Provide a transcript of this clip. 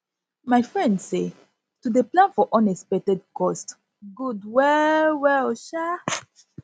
my friend say to dey plan for unexpected cost good well well um